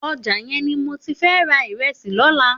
Òjá yèn ni mó ti fè rà irèsí lòlá